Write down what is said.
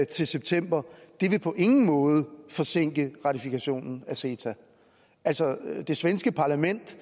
til september på ingen måde vil forsinke ratifikationen af ceta det svenske parlament